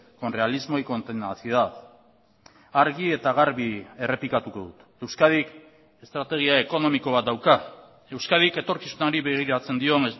con realismo y con tenacidad argi eta garbi errepikatuko dut euskadik estrategia ekonomiko bat dauka euskadik etorkizunari begiratzen dion